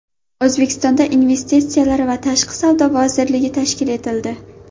O‘zbekistonda Investitsiyalar va tashqi savdo vazirligi tashkil etildi.